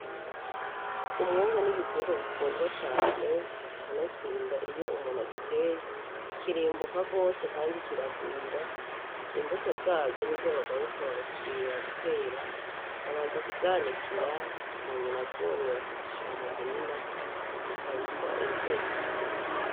Umwungu n'igiterwa gikundwa cane kanatsinda iyo umuntu agiteye kirimbuka gose kandi kiragwira, imbuto zazo nizo bagaruka bagasubira gutera babanza kuzanikira munyuma zumye bakazishira mu murima zirya bitwa inzuzi.